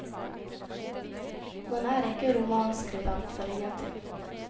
Man er ikke romanskribent for ingenting.